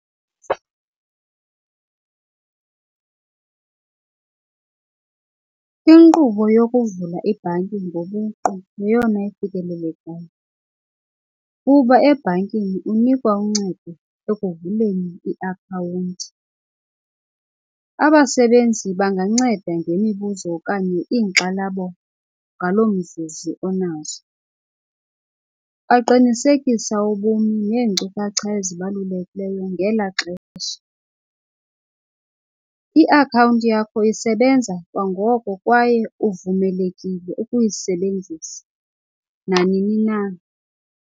Inkqubo yokuvula ibhanki ngobuqu yeyona ifikelelekayo kuba ebhankini unikwa uncedo ekuvuleni iakhawunti. Abasebenzi banganceda ngemibuzo okanye iinkxalabo ngaloo mzumzu onazo. Baqinisekisa ubuni neenkcukacha ezibalulekileyo ngela xesha. Iakhawunti yakho isebenza kwangoko kwaye uvumelekile ukuyisebenzisa nanini na.